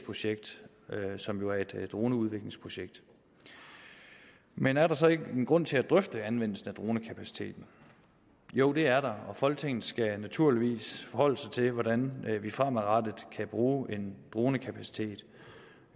projekt som jo er et droneudviklingsprojekt men er der så ikke en grund til at drøfte anvendelsen af dronekapaciteten jo det er der folketinget skal naturligvis forholde sig til hvordan vi fremadrettet kan bruge en dronekapacitet